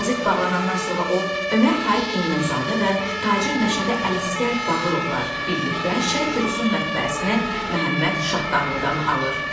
Qəzet bağlanandan sonra o Ömər Faiq Nemənzadə və tacir Məşədə Ələsgər Bağırovla birlikdə Şərqi Rusun mətbəəsinə Məhəmməd Şahtağlıdan alır.